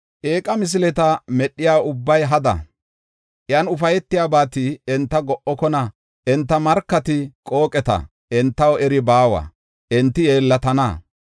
Eeqa misileta medhiya ubbay hada; iyan ufaytiyabati enta go7okona. Enta markati qooqeta entaw eri baawa; enti yeellatana.